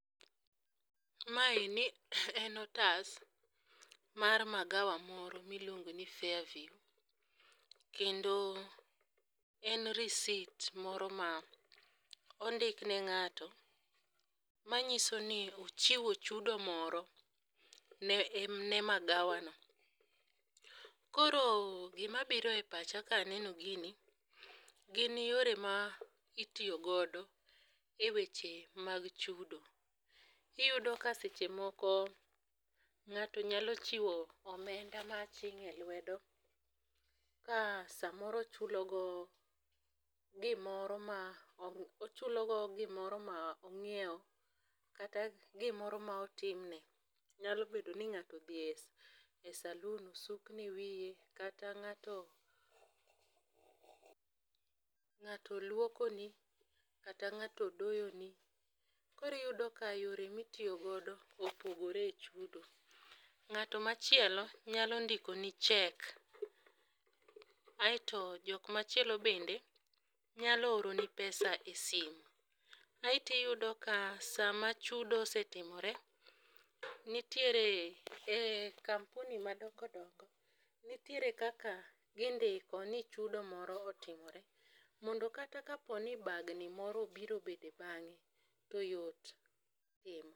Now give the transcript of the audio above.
Ma eni en otas mar magawa moro miluongo ni fair view kendo en risit moro ma ondikne ng'ato manyiso ni ochiwo chudo moro ne magawa no. Koro gima biro e pacha kaneno gini, gin yore ma itiyo godo e weche mag chudo. Iyudo ka seche moko ng'ato nyalo chiwo omenda ma aching' e lwedo ka samoro ochulo go gimoro ma ochulo go gimoro ma onyiewo kata gimoro ma otimne. Nyalo bedo ni ngato odhi e salun osukne wiye kata ng'ato ng'ato luoko ni kata ng'ato odoyo ni. Kori iyudo ka yore mitiyo godo opogore e chudo ng'at machielo nyalo ndiko ni chek aeto jok machielo bende nyalo oroni pesa e simo. Aeto iyudo ka sama chudo osetimore nitiere kampuni madongodongo nitiere kaka gindiko ni chudo moro otimore mondo kata kapo ni bagni moro obiro obede bang'e to yot